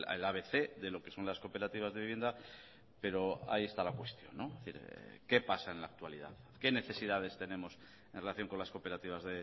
el abc de lo que son las cooperativas de vivienda pero ahí está la cuestión qué pasa en la actualidad qué necesidades tenemos en relación con las cooperativas